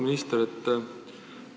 Auväärt minister!